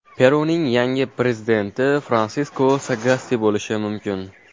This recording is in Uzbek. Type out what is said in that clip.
Peruning yangi prezidenti Fransisko Sagasti bo‘lishi mumkin.